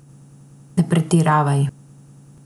Ne pretiravaj.